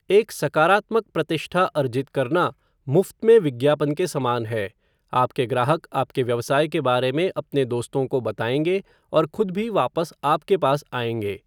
एक सकारात्मक प्रतिष्ठा अर्जित करना मुफ्त में विज्ञापन के समान है, आपके ग्राहक आपके व्यवसाय के बारे में अपने दोस्तों को बताएंगे और खुद भी वापस आपके पास आएँगे।